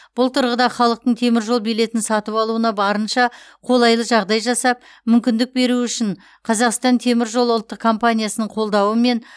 бұл тұрғыда халықтың теміржол билетін сатып алуына барынша қолайлы жағдай жасап мүмкіндік беру үшін қазақстан темір жолы ұлттық компаниясының қолдауымен